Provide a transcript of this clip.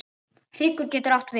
Hryggur getur átt við